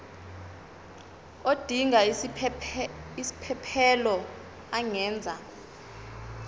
odinga isiphesphelo angenza